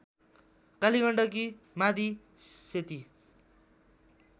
Kaligandaki Madi Seti